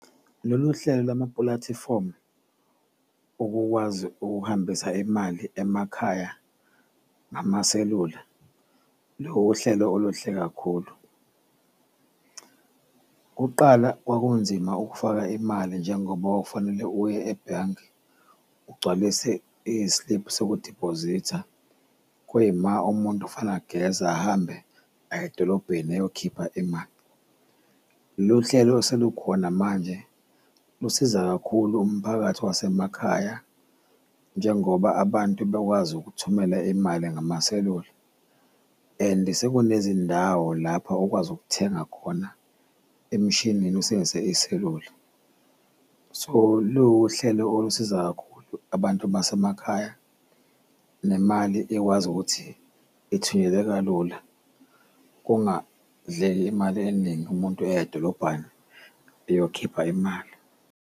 Lolu hlelo lwamapulatifomu ukukwazi ukuhambisa imali emakhaya ngamaselula liwuhlelo oluhle kakhulu. Kuqala kwakunzima ukufaka imali njengoba kwakufanele uye ebhange ugcwalise isliphu sokudibhozitha, kuyima umuntu ageze ahambe aye edolobheni eyokhipha imali. Lolu hlelo oselukhona manje lusiza kakhulu umphakathi wasemakhaya njengoba abantu bekwazi ukuthumela imali ngamaselula and sekunezindawo lapho ukwazi ukuthenga khona emishinini usebenzise iselula. So luwuhlelo olusiza kakhulu abantu basemakhaya nemali ekwazi ukuthi ithunyelwe kalula, kungadleki imali eningi umuntu eya edolobhani eyokhipha imali.